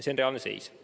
See on reaalne seis.